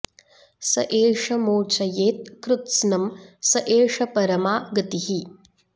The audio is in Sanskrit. स एष मोचयेत् कृत्स्नं स एष परमा गतिः